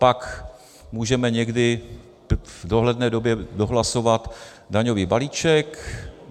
Pak můžeme někdy v dohledné době dohlasovat daňový balíček.